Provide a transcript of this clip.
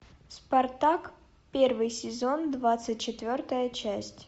спартак первый сезон двадцать четвертая часть